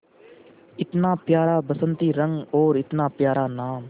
इतना प्यारा बसंती रंग और इतना प्यारा नाम